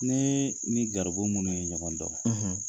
Ne ni gabu minnu ye ɲɔgɔn dɔn, .